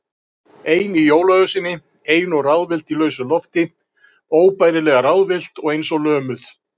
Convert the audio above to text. Ein í jólaösinni, ein og ráðvillt í lausu lofti, óbærilega ráðvillt og eins og lömuð.